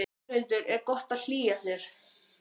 Þórhildur: Er gott að hlýja sér?